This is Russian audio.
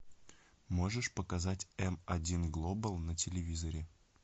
можешь показать м один глобал на телевизоре